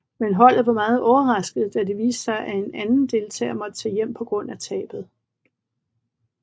Men holdet var meget overrasket da det viste sig at en anden deltager måtte tage hjem på grund af tabet